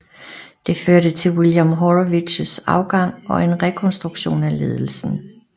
Det førte til William Haurowitz afgang og en rekronstruktion af ledelsen